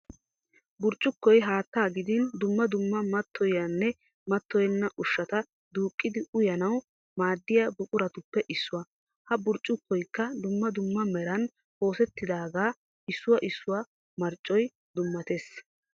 Burccukkoy haattaa gidin dumma dumma mattoyiyaanne mattoyenna ushshata duuqqidi uyanawu maaddiya buquratuppe issuwa. Ha burccukkoyikka dumma dumma meran oosettidaagaa issuwa issuwa marccoy dummatees.